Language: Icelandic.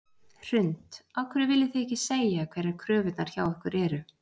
Hrund: Af hverju viljið þið ekki segja hverjar kröfurnar hjá ykkur eru?